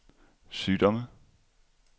sygdomme